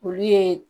Olu ye